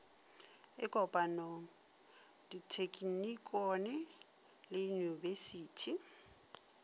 e kopanego dithekinikone le uiyunibesithi